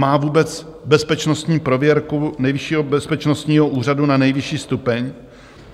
Má vůbec bezpečnostní prověrku nejvyššího bezpečnostního úřadu na nejvyšší stupeň?